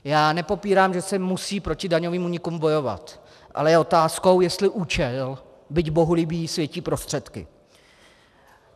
Já nepopírám, že se musí proti daňovým únikům bojovat, ale je otázkou, jestli účel, byť bohulibý, světí prostředky.